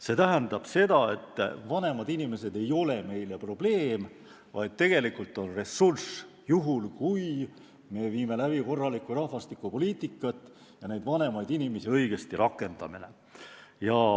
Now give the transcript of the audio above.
See tähendab seda, et vanemad inimesed ei ole meile probleem, vaid ressurss, juhul kui me viime läbi korralikku rahvastikupoliitikat ja vanemaid inimesi õigesti rakendame.